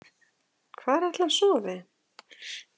Hvar ætli hann sofi?